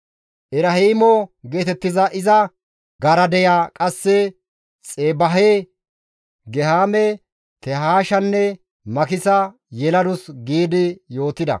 Erehimo geetettiza iza garadeya qasse Xebaahe, Gehaame, Tehaashanne Makisa yeladus» gi yootida.